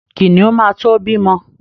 Kìnìún ma to bímọ.